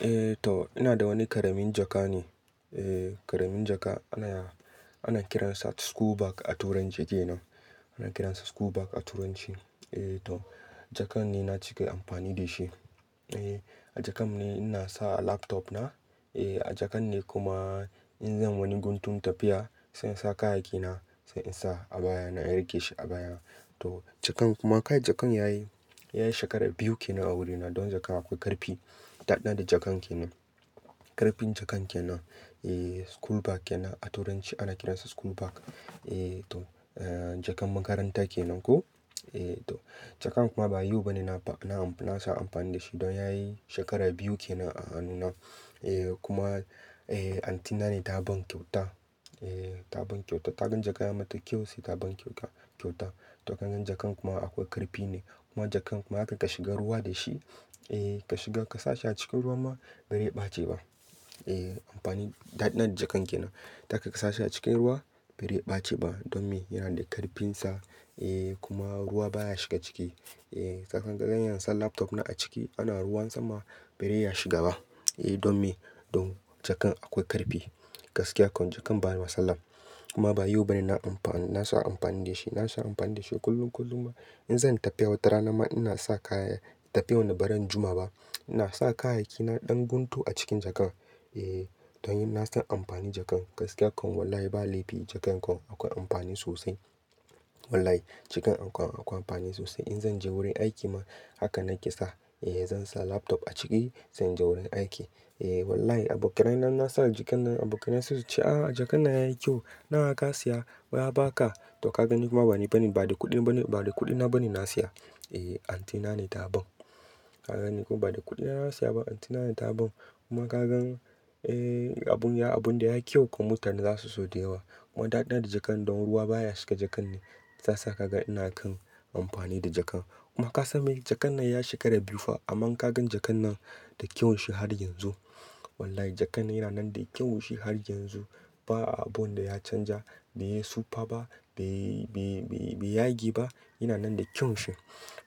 Eh toh ina da wani ƙaramin jaka ne. Eh ƙaramin jaka ana kiran sa school bag a turanci kenan. Ana kiransa school bag a turanci. Eh, to jakan ne na cike amfani da shi. Eh, a jakan ne ina sa laptop na. Eh, a jakan ne kuma in zan wani guntun tafiya sai in sa kayayyaki na, sai in sa a baya na, in rike shi a baya. Toh, jakan kuma kai jakan yayi, yayi shekara biyu kenan a wurina. Don jakan akwai karfi. Da ɗina da jakan kenan. Karfin jaka kenan. Eh, school bag kenan a turanci ana kiransa school bag. Eh, to jaka makaranta kenan ko. Eh to jaka kuma ba yau bane na, na sa amfani da shi, don yayi shekara biyu kenan a hannuna. Eh kuma, eh auntyna ne ta ban kyauta. Eh ta ban kyauta. Ta gan jaka ya mata kyau sai ta ban kyauta. Toh kagan jakan kuma akwai karfi ne, kuma jakan kuma haka ka shiga ruwa da shi, eh ka shiga, ka sa shi a cikin ruwa ma barai ɓace ba. Eh amfani daɗina da jakan kenan. Zaka ka sa shi a cikin ruwa barai ɓace ba don me? Yana da karfinsa. Eh kuma ruwa baya shiga ciki. Eh kagan bara iya sa laptop na a ciki ana ruwan sama, barai iya shiga ba. Eh don me? Don jaka akwai karfi. Gaskiya kuwa jakan ba matsala. Kuma ba yau bane na amfani, na sa amfani da shi. Na sa amfani da shi kullum-kullum in zanyi tafiya wata rana ma ina sa kaya. Tafiya me Baran juma ba. Ina sa kayayyaki na ɗan guntu a cikin jaka. Eh, don nasan amfanin jakan. Gaskiya kam wallahi ba laifi jakan kam akwai amfani sosai. Wallahi jakan akwai amfani sosai. In zan je wurin aiki ma haka nake sa. Eh, zan sa laptop a ciki, sai inje wurin aiki. Eh wallahi abokai inna sa jakan nan abokai na suna cewa, "ah jaka nan yayi kyau. Nawa ka siya? Waye ya ba ka?" Toh kagan kuma bani, ba da kuɗi bane, ba da kuɗina bane na siya. Eh auntyna ne ta ban. Kagan kuma ba da kuɗina na siya ba auntyna ne ta ban. Kuma kagan eh abun, abun da yayi kyau kuma mutane za su so da yawa. Kuma daɗi na da jakan don ruwa baya shiga jaka ne, shiya sa kaga ina kan amfani da jaka. Kuma ka san me? Jakan nan ya yi shekara biyu fa amma in kagan jakan nan da kyaun shi har yanzu. Wallahi jakan yana nan da kyaun shi har yanzu. Ba abun da ya canja, bai yi sufa ba, bai yage ba. Yana nan da kyawun shi.